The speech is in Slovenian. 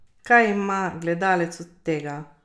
Kaj ima gledalec od tega?